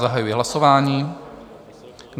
Zahajuji hlasování.